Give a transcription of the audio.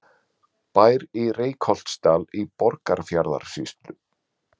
Bær í Reykholtsdal í Borgarfjarðarsýslu.